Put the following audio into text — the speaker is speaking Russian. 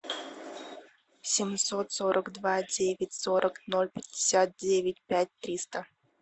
семьсот сорок два девять сорок ноль пятьдесят девять пять триста